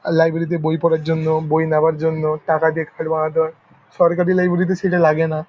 Library -তে বই পড়ার জন্য বই নেয়ার জন্য টাকা দিয়ে বানাতে হয় । সরকারি লাইব্রেরি -তে সেটা লাগে না ।